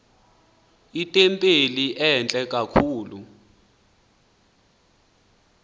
itempile entle kakhulu